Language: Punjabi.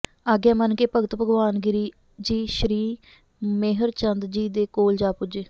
ਆਗਿਆ ਮੰਨ ਕੇ ਭਗਤ ਭਗਵਾਨ ਗਿਰਿ ਜੀ ਸ਼੍ਰੀ ਮੇਹਰਚੰਦਜੀ ਦੇ ਕੋਲ ਜਾ ਪਹੁੰਚੇ